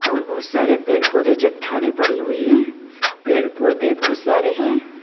और बहुत सारे पेड़ पौधे चट्टानें पड़ी हुई है। पेड़ पौधे बहुत सारे है।